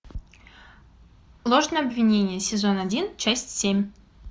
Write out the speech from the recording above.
ложное обвинение сезон один часть семь